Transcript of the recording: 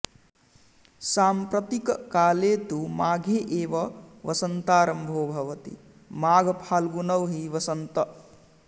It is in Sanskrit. साम्प्रतिककाले तु माघे एव वसन्तारम्भो भवति माघफाल्गुनौ हि वसन्त